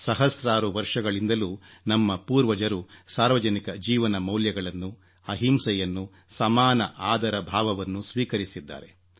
ಸಹಸ್ರಾರು ವರ್ಷಗಳಿಂದಲೂ ನಮ್ಮ ಪೂರ್ವಜರು ಸಾರ್ವಜನಿಕ ಜೀವನಮೌಲ್ಯಗಳನ್ನು ಅಹಿಂಸೆಯನ್ನು ಸಮಾನ ಆದರ ಭಾವವನ್ನು ಸ್ವೀಕರಿಸಿದ್ದಾರೆ